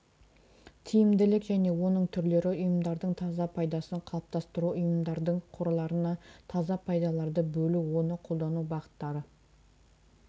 тиімділік және оның түрлері ұйымдардың таза пайдасын қалыптастыру ұйымдардың қорларына таза пайдаларды бөлу оны қолдану бағыттары